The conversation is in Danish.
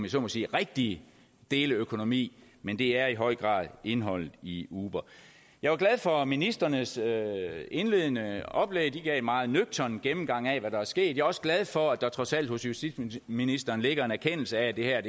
så må sige rigtige deleøkonomi men det er i høj grad indholdet i uber jeg var glad for ministrenes indledende oplæg de gav en meget nøgtern gennemgang af hvad der er sket også glad for at der trods alt hos justitsministeren ligger en erkendelse af at det her